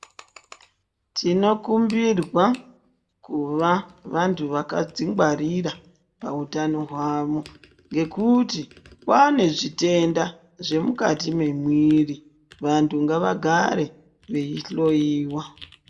Tinokumbirwa kuva vantu vakadzingwarira pahutano hwavo ngekuti kwaane zvitenda zvemukati mwemwiri .Vantu ngavagare veihloyiwa .